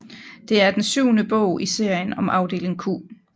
Det er den syvende bog i serien om Afdeling Q